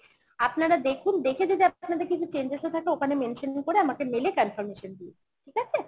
আপনারা দেখুন দেখে যদি আপনাদের কিছু changes ও থাকে ওখানে mention করে আমাকে mail এ confirmation দিন ঠিক আছে?